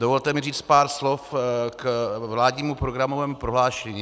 Dovolte mi říct pár slov k vládnímu programovému prohlášení.